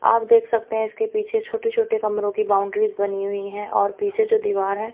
आप देख सकते है इसके पीछे छोटे छोटे कमरों की बाउंड्री बनी हुई है और पीछे जो दिवार है--